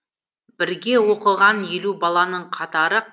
бірге оқыған елу баланың қатары